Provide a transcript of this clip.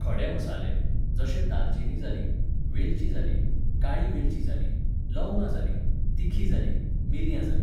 खडे मसाले, जशे दालचिनी जाली, वेलची जाली, काळी वेलची जाली, लवंगा जाली, तिखी जाली, मिरयां जालीं